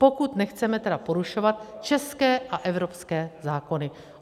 Pokud nechceme tedy porušovat české a evropské zákony.